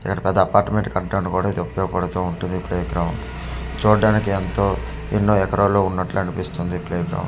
ఇక్కడ పెద్ద అపార్ట్మెంట్ కట్టడానికి కూడా ఇది ఉపయోగ పడుతు ఉంటుంది ప్లే గ్రౌండ్ చూడడానికి ఎంతో ఎన్నో ఎకరాలలో ఉన్నటు అనిపిస్తుంది ప్లే గ్రౌండ్ .